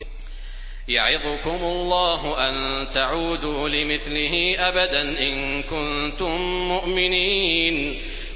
يَعِظُكُمُ اللَّهُ أَن تَعُودُوا لِمِثْلِهِ أَبَدًا إِن كُنتُم مُّؤْمِنِينَ